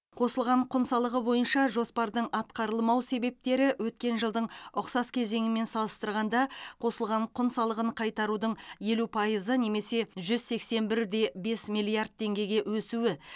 қосылған құн салығы бойынша жоспардың атқарылмау себептері өткен жылдың ұқсас кезеңімен салыстырғанда қосылған құн салығын қайтарудың елу пайызы немесе жүз сексен бір де бес миллиард теңгеге өсуі